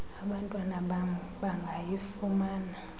abantwana bam bangayifumana